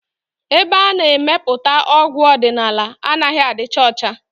Ebe ana-emepụta ọgwụ ọdịnala anaghị adịcha ọcha